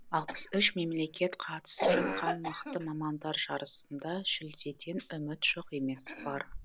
алпыс үш мемлекет қатысып жатқан мықты мамандар жарысында жүлдеден үміт жоқ емес бар